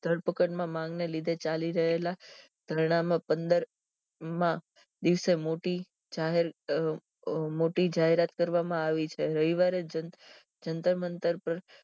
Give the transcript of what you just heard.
ધરપકડ માં માંગ લીધે ચાલી રહેલા ધરડા માં પંદર માં દિવસે મોટી જાહેર અહ જાહેરાત કરવામ આવી છે રવિવારે જન જંતરમંતર